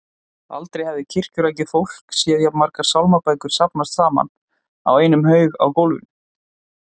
Aldrei hafði kirkjurækið fólk séð jafn margar sálmabækur safnast saman í einum haug á gólfinu.